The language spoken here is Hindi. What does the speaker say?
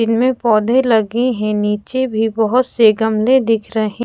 जिनमे पौधे लगे है नीचे भी बहुत से गमले दिख रहे--